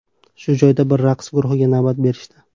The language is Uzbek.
Shu joyda bir raqs guruhiga navbat berishdi.